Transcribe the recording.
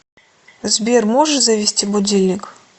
сбер можешь завести будильник